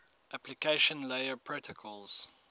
application layer protocols